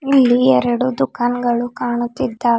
ಇಲ್ಲಿ ಎರಡು ದುಖಾನ್ ಗಳು ಕಾಣುತ್ತಿದ್ದಾವೆ.